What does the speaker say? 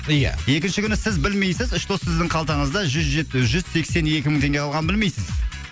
ия екінші күні сіз білмейсіз что сіздің қалтаңызда жүз сексен екі мың теңге қалғанын білмейсіз